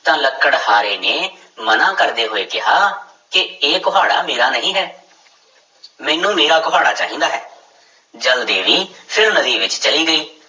ਤਾਂ ਲੱਕੜਹਾਰੇ ਨੇ ਮਨਾ ਕਰਦੇ ਹੋਏ ਕਿਹਾ ਕਿ ਇਹ ਕੁਹਾੜਾ ਮੇਰਾ ਨਹੀਂ ਹੈ ਮੈਨੂੰ ਮੇਰਾ ਕੁਹਾੜਾ ਚਾਹੀਦਾ ਹੈ, ਜਲ ਦੇਵੀ ਫਿਰ ਨਦੀ ਵਿੱਚ ਚਲੀ ਗਈ